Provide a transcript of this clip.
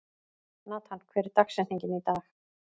Natan, hver er dagsetningin í dag?